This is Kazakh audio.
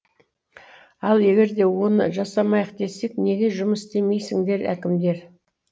ал егер де оны жасамайық десек неге жұмыс істемейсіңдер әкімдер